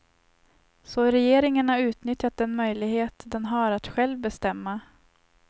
Så regeringen har utnyttjat den möjlighet den har att själv bestämma.